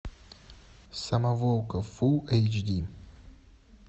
самоволка фулл эйч ди